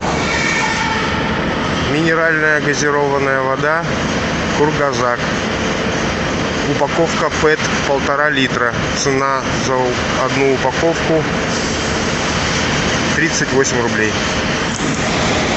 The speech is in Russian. минеральная газированная вода кургазак упаковка пэт полтора литра цена за одну упаковку тридцать восемь рублей